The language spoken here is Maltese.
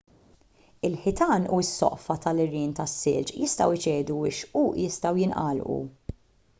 il-ħitan u s-soqfa tal-għerien tas-silġ jistgħu jċedu u x-xquq jistgħu jingħalqu